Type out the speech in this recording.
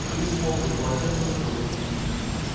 вылез мокрый полотенце забыл